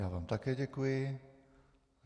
Já vám také děkuji.